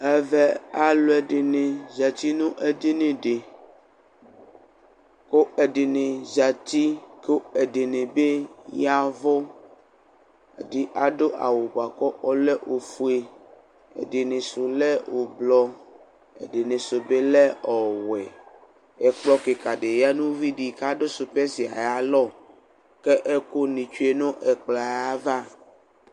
Ɛʋɛ alu ɛdini zati nu edini di ku ɛdini zsti ku ɛdini bi yaʋu, ɛdi adu awu bua ku ɔlɛ ofue ɛdinisu lɛ ublɔ, ɛdinisu bi lɛ ɔwɛ Ɛkplɔ kikidi ya nu uʋidi k'adu supɛsi ayalɔ kɛ ɛkuni tsue nu ɛkpɔɛ ava